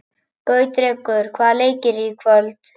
Gautrekur, hvaða leikir eru í kvöld?